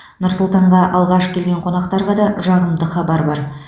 нұр сұлтанға алғаш келген қонақтарға да жағымды хабар бар